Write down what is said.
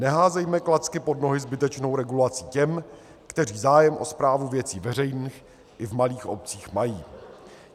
Neházejme klacky pod nohy zbytečnou regulací těm, kteří zájem o správu věcí veřejných i v malých obcích mají.